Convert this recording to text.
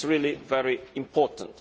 This is really very important.